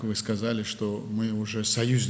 Dediyiniz kimi, biz artıq müttəfiqik.